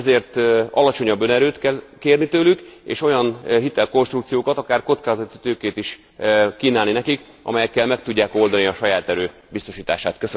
Ezért alacsonyabb önerőt kell kérni tőlük, és olyan hitelkonstrukciókat, akár kockázati tőkét is kínálni nekik, amelyekkel meg tudják oldani a saját erő biztosítását.